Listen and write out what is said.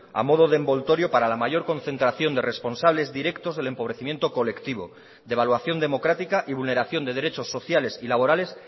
a modo de envoltorio para la mayor concentración de responsables directos del empobrecimiento colectivo devaluación democrática y vulneración de derechos sociales y laborales